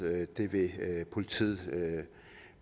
politiet vil